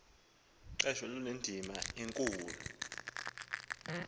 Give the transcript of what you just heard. qesho lunendima enkulu